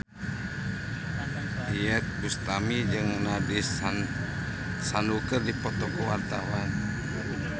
Iyeth Bustami jeung Nandish Sandhu keur dipoto ku wartawan